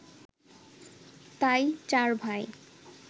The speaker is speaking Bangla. তাই চার ভাই